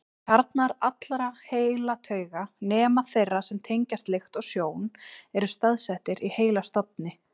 Kjarnar allra heilatauga, nema þeirra sem tengjast lykt og sjón, eru staðsettir í heilastofni.